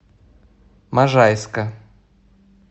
можайска